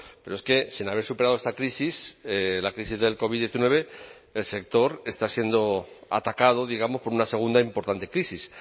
pero es que sin haber superado esta crisis la crisis del covid diecinueve el sector está siendo atacado digamos por una segunda importante crisis